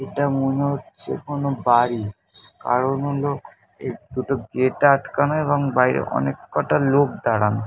এটা মনে হচ্ছে কোনো বাড়ি। কারণ হলো এর দুটো গেট আটকানো এবং বাইরে অনেক কটা লোক দাঁড়ানো।